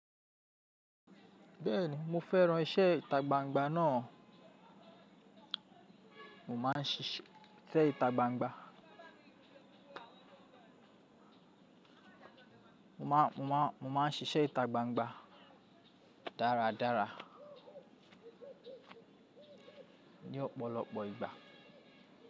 Bẹ́ẹ̀ni, mo fẹ́ran iṣẹ́ ìta gbangba náà. Mo máa ń ṣíṣe ìta gbangba. Mo máa, mo máa, mo máa ń ṣíṣe ìta gbangba dáradára. Ni ọ̀pọ̀lọpọ̀ ìgbà.